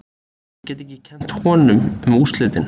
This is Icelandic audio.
Ég get ekki kennt honum um úrslitin.